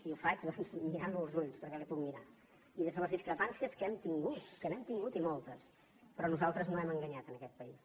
i ho faig mirant lo als ulls perquè l’hi puc mirar i des de les discrepàncies que hem tingut que n’hem tingut i moltes però nosaltres no hem enganyat aquest país